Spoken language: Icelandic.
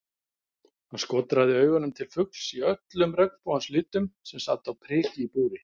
Hann skotraði augunum til fugls í öllum regnbogans litum sem sat á priki í búri.